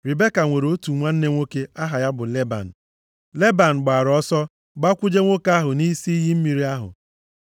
Ribeka nwere otu nwanne nwoke aha ya bụ Leban. Leban gbara ọsọ gbakwuje nwoke ahụ nʼisi iyi mmiri ahụ.